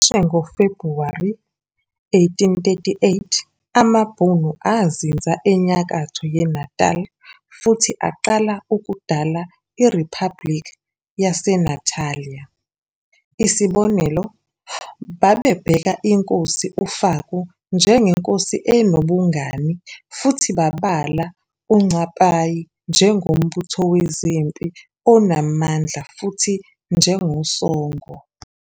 Cishe ngoFebhuwari 1838 amabhunu azinza enyakatho yeNatal futhi aqala ukudala iRiphabhliki yaseNatalia. Isibonelo, babebheka inkosi uFaku njengenkosi enobungani futhi babala uNcapayi njengombutho wezempi onamandla futhi njengosongo.